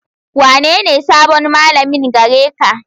Wanene sabon malamin gare ka.